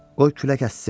Qoy külək əssin.